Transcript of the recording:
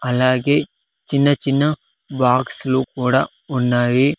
అలాగే చిన్న చిన్న బాక్సు లు కూడా ఉన్నావి.